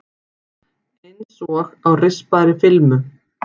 Einsog á rispaðri filmu.